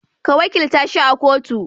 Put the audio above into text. Ka wakilta shi a kotu